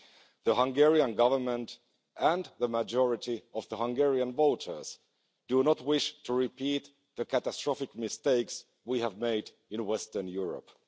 The Hungarian Government and the majority of Hungarian voters do not wish to repeat the catastrophic mistakes we have made in Western Europe.